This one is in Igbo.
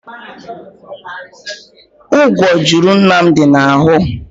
Ngwò juru Nnamdi na-ahụ.